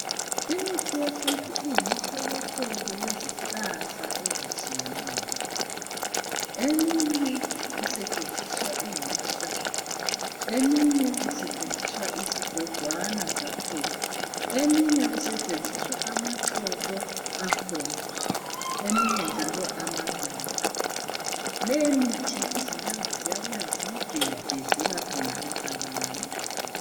Imithi yesintu iyimihlobohlobo yezihlahla ezitshiyeneyo , eminye isetshenziswa ingamahlamvu , eminye kusetshenziswa izigojwana zakhona , eminye kusetshenziswa amaxolo akhona eminye njalo amaluba .Leyi mithi izinyanga ziyabuya ziyigebhe zelaphe ngayo abantu.